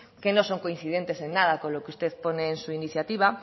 que no son coincidentes en nada con lo que usted pone en su iniciativa